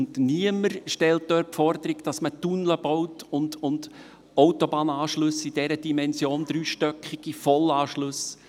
Niemand stellt dort die Forderung, dass man Tunnel baut und Autobahnanschlüsse in dieser Dimension baut, dreistöckige Vollanschlüsse.